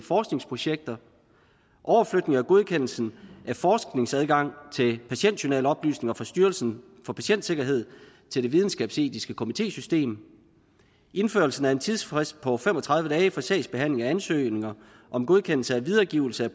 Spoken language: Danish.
forskningsprojekter overflytning af godkendelsen af forskningsadgang til patientjournaloplysninger fra styrelsen for patientsikkerhed til det videnskabsetiske komitésystem indførelsen af en tidsfrist på fem og tredive dage for sagsbehandling af ansøgninger om godkendelse af videregivelse